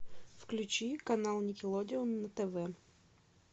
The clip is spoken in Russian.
включи канал никелодеон на тв